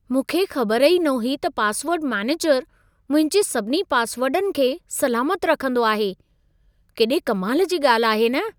मूंखे ख़बर ई न हुई त पासवर्ड मैनेजरु मुंहिंजे सभिनी पासवर्डनि खे सलामत रखंदो आहे। केॾे कमाल जी ॻाल्हि आहे न!